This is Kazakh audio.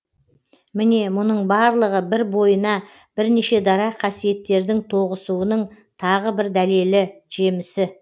міне мұның барлығы бір бойына бірнеше дара қасиеттердің тоғысуының тағы бір дәлелі жемісі